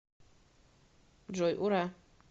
джой ура